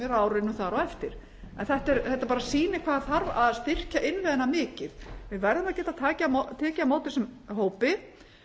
á árinu þar á eftir en þetta bara sýnir hvað þarf að styrkja innviðina mikið við verðum að geta tekið á móti þessum hópi